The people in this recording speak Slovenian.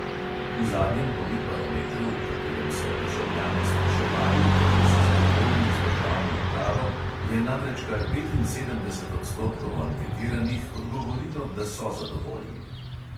V zadnjem politbarometru, v katerem so državljane spraševali, kako so zadovoljni z državno upravo, je namreč kar petinsedemdeset odstotkov anketiranih odgovorilo, da so zadovoljni.